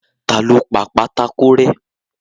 Ta lo pa pátákó rẹ́.